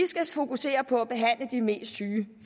fokusere på at behandle de mest syge